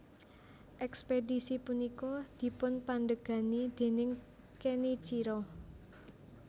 Ekspedisi punika dipunpandegani déning Kenichiro